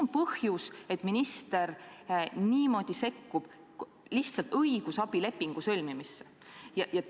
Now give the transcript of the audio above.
Mis põhjusel minister lihtsalt niimoodi sekkub õigusabilepingu sõlmimisse?